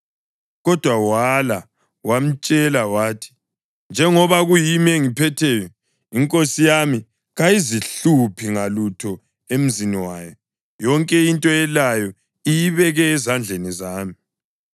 Kodwa wala. Wamtshela wathi, “Njengoba kuyimi engiphetheyo, inkosi yami kayizihluphi ngalutho emzini wayo; yonke into elayo iyibeke ezandleni zami.